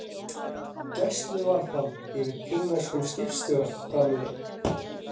Gæsluvarðhald yfir kínverskum skipstjóra framlengt